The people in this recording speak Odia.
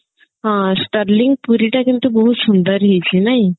ହଁ sterling ପୁରୀ ଟା କିନ୍ତୁ ବହୁତ ସୁନ୍ଦର ହେଇଛି ନାଇଁ